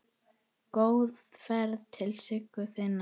Góða ferð til Siggu þinnar.